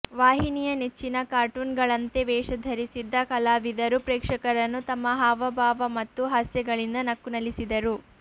ವಾಹಿನಿಯ ನೆಚ್ಚಿನ ಕಾರ್ಟೂನ್ಗಳಂತೆ ವೇಷ ಧರಿಸಿದ್ದ ಕಲಾವಿದರು ಪ್ರೇಕ್ಷಕರನ್ನು ತಮ್ಮ ಹಾವಭಾವ ಮತ್ತು ಹಸ್ಯಗಳಿಂದ ನಕ್ಕು ನಲಿಸಿದರು